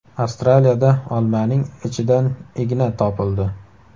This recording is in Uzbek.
Avstraliyada olmaning ichidan igna topildi.